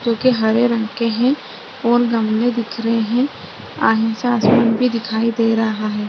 जो की हरे रंग के हैं और गमले दिख रहे हैं। भी दिखाई दे रहा है।